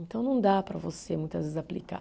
Então não dá para você muitas vezes aplicar.